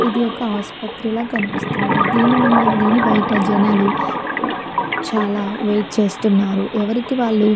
ఇది ఒక ఆసుప్రతి లా కనిపిస్తున్నది దీని ముందు దీని బయట జనాలు చాలా వెయిట్ చేస్తున్నారు ఎవరికి వాళ్ళు --